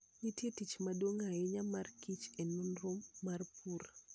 Nitie tich maduong' ahinya ma kich e nonro mar pur.